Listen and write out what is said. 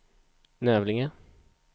Nävlinge